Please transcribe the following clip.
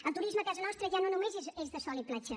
el turisme a casa nostra ja no només és de sol i platja